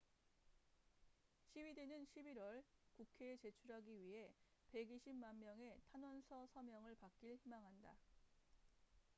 시위대는 11월 국회에 제출하기 위해 120만 명의 탄원서 서명을 받길 희망한다